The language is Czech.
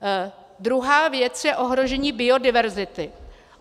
Druhá věc je ohrožení biodiverzity.